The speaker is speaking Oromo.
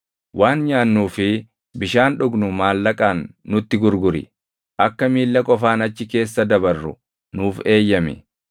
Waan nyaannuu fi bishaan dhugnu maallaqaan nutti gurguri. Akka miilla qofaan achi keessa dabarru nuuf eeyyami;